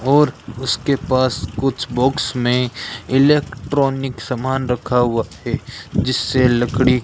और उसके पास कुछ बॉक्स मे इलेक्ट्रॉनिक समान रखा हुआ है जिससे लकड़ी --